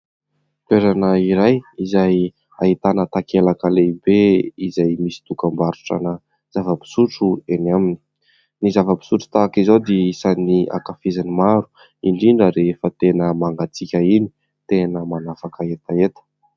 Toerana iray izay ahitana takelaka lehibe izay misy dokam-barotrana zava-pisotro eny aminy, ny zava-pisotro tahaka izao dia isany ankafizany maro indrindra rehefa tena mangatsiaka iny, tena manafaka hetaheta.